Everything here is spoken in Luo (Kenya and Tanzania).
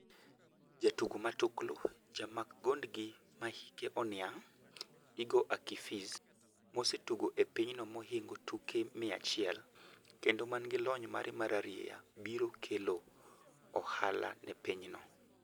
Jatugo matuklu: Jamak gond gi mahike oniang', Igor Akinfeev, mosetugo ne pinyno mohingo tuke 100 kendo man gi lony mare mararieya biro kelo ohala ne pinyno.